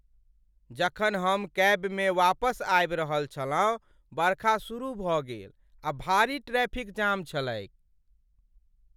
जखन हम कैबमे वापस आबि रहल छलहुँ, बरखा शुरू भऽ गेल, आ भारी ट्रैफिक जाम छलैक ।